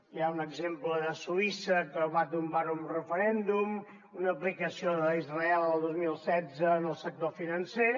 hi ha un exemple de suïssa que va tombar ho en referèndum una aplicació d’israel el dos mil setze en el sector financer